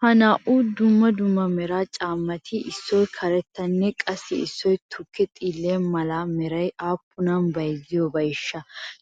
Ha naa'u dumma dumma mera caammati issoy karettanne qassi issoy tukke xiille mala merati aappunan bayzziyabeeshsha?